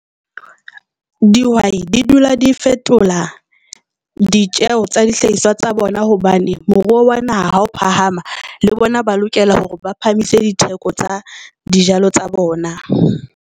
Dihwai di dula di fetola ditjeho tsa dihlahiswa tsa bona hobane moruo wa naha ha o phahama le bona ba lokela hore ba phahamise ditheko tsa dijalo tsa bona.